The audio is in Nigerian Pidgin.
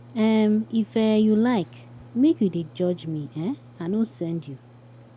um If um you like, make you dey judge me, um I no send you.